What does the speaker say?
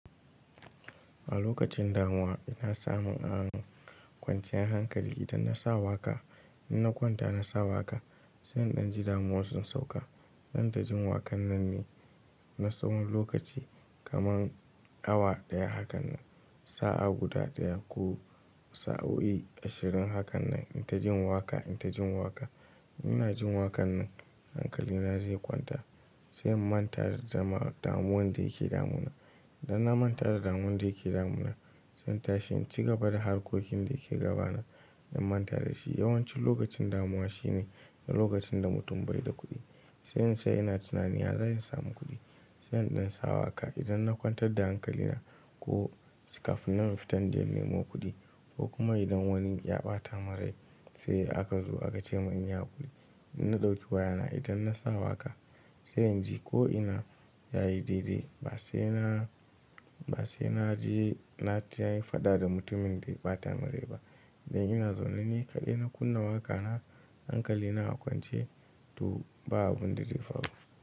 A lokacin damuwa ina samun an kwanciyan hankali idan na sa waƙa. In na kwanta na sa waƙa, sai in ɗan ji damuwa sun sauka. Nan ta jin waƙan nan ne na tsawon lokaci kaman awa ɗaya hakan nan, sa'a guda ɗaya ko sa'o'i ashirin hakan nan. In ta jin waƙa in ta jin waƙa, in ina jin waƙan nan hankalina zai yi kwanta sai in manta da dama damuwan da yake damuna. Idan na manta da damuwan da yake damu na, sai in tashi in ci gaba da harkokin da ke gaba na. In manta da shi yawancin lokacin damuwa shine lokacin da mutum bai da kuɗi. Sai in je ina tunani ya za'ai in samu kuɗi? Sai in ɗan sa waƙa idan na kwantar da hankalina ko kafin nan in fita in je nemo kuɗi ko kuma idan wani ya ɓata mun rai sai aka zo aka ce mun in yi hakuri in na ɗauki wayana idan na sa waƙa, sai in ji ko ina yayi daidai ba sai na ba sai na je na tayi fada da mutumin da ya ɓata mun rai ba idan ina zaune ni kaɗai na kunna waƙa na hankalina a kwance to ba abun da zai faru.